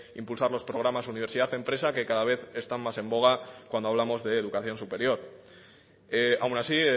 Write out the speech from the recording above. impulsar los programas universidad empresa que cada vez están más en boga cuando hablamos de educación superior aún así